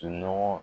Nɔgɔ